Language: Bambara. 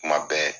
Kuma bɛɛ